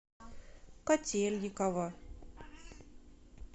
котельниково